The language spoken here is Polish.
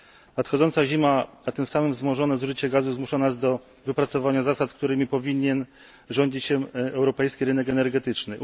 Nadchodząca zima, a tym samym wzmożone zużycie gazu, zmusza nas do wypracowania zasad, którymi powinien rządzić się europejski rynek energetyczny.